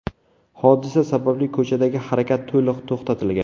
Hodisa sababli ko‘chadagi harakat to‘liq to‘xtatilgan.